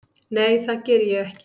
Nei það geri ég ekki.